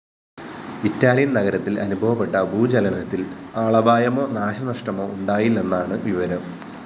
Italian‍ നഗരത്തില്‍ അനുഭവപ്പെട്ട ഭൂചലനത്തില്‍ ആളപായമോ നാശനഷ്ടമോ ഉണ്ടായില്ലെന്നാണ് വിവരം